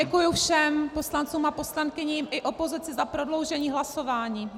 Děkuji všem poslancům a poslankyním i opozici za prodloužení hlasování.